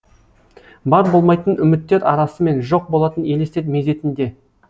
бар болмайтын үміттер арасымен жоқ болатын елестер мезетінде